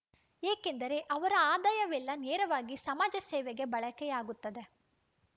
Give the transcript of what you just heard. ಏಕೆಂದರೆ ಅವರ ಆದಾಯವೆಲ್ಲ ನೇರವಾಗಿ ಸಮಾಜಸೇವೆಗೆ ಬಳಕೆಯಾಗುತ್ತದೆ